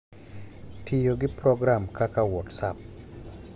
Tiyo gi program kaka WhatsApp.